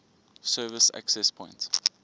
service access point